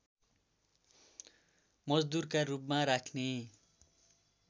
मजदुरका रूपमा राख्ने